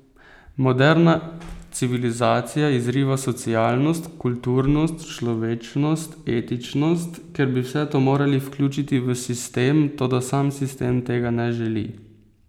Moderna civilizacija izriva socialnost, kulturnost, človečnost, etičnost, ker bi vse to morali vključiti v sistem, toda sam sistem tega ne želi.